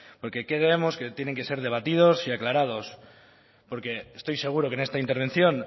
porque creemos que tienen que ser debatidos y aclarados porque estoy seguro que en esta intervención